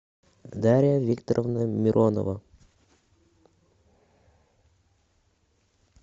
дарья викторовна миронова